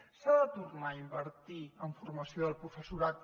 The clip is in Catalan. s’ha de tornar a invertir en formació del professorat